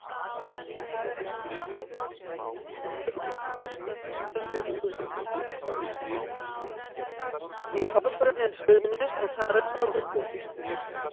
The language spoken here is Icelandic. Í forgrunni er Suðurnes en þar er golfvöllur.